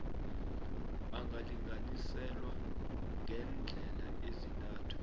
angalinganiselwa ngeendlela ezintathu